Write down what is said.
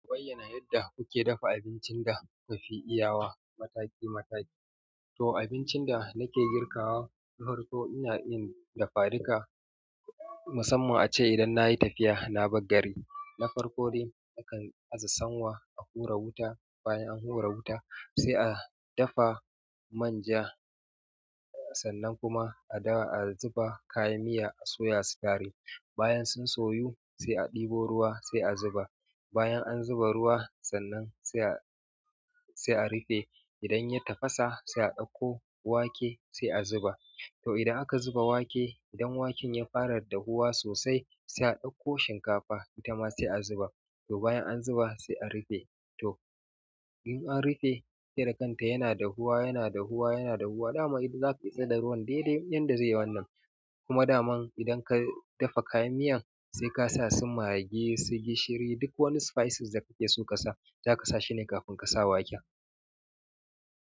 Waye na yadda kuke dafa abincin da kafi iya wa mataki-mataki? To abincin da nake girka wa, to harko to ina iya dafa duka. Musamman a ce idan nayi tafiya na bar gari. Na farko dai akan azasawa a hura wuta. Bayan an hura wuta sai a dafa manja. Sannan kuma a daka a zuba kayan miya a soya su gari. Bayan sun soyu sai a ɗebo ruwa sai a zuba. Bayan an zuba ruwa sannan sai a, sai a rufe. Idan ya tafasa sai a ɗauko wake sai a zuba. To idan aka zuba wake, idan waken ya fara dahuwa sosai sai a ɗauko shinkafa ita ma sai a zuba. To bayan an zuba sai a rufe. To in an rufe sai da kanta yana dahuwa, yana dahuwa, yana dahuwa. Daman zaka gwada ruwan daidai yanda zai wannan kuma dama idan ka dafa kayan miyan sai ka sa su maggi su gishiri duk wani spices da kake so ƙasa. Za ka sa shi ne kafin ka sa wake.